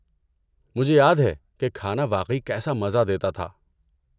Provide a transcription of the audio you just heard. مجھے یاد ہے کہ کھانا واقعی کیسا مزہ دیتا تھا۔